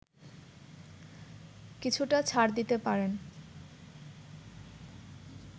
কিছুটা ছাড় দিতে পারেন